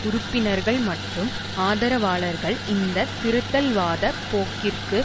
உறுப்பினர்கள் மற்றும் ஆதரவாளர்கள் இந்த திருத்தல்வாதப் போக்கிற்கு